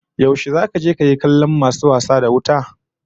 Yaushe zaka je kayi kallon masu wasa da wuta?